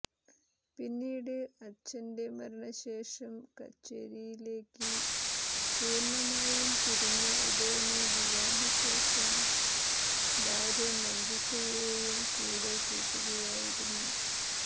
പിന്നീട് അച്ഛന്റെ മരണശേഷം കച്ചേരിയിലേക്ക് പൂര്ണ്ണമായും തിരിഞ്ഞ ഉദയന് വിവാഹശേഷം ഭാര്യ മഞ്ജുഷയെയും കൂടെ കൂട്ടുകയായിരുന്നു